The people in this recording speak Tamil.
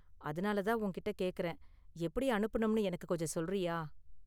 அதனால தான் உன்கிட்ட கேக்கறேன், எப்படி அனுப்பனும்ணு எனக்கு கொஞ்சம் சொல்றியா?